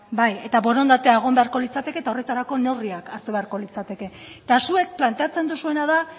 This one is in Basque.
eta borondatea egon beharko litzateke eta horretarako neurriak hartu beharko litzateke eta zuek planteatzen duzuena da